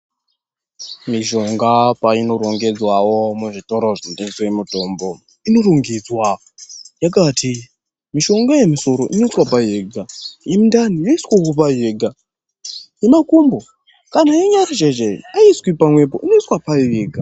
Mishonga painorongedzwawo muzvitoro zvinotengese mutombo inorongedzwa yakati mishonga yemusoro inoiswa payo yega yemundani inoiswe payo yega yemakumbo kana yenyara chaiyo chaiyo aiiswi pamwepo inoiswa payo yega.